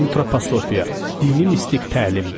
Antroposofiya: dini mistik təlim.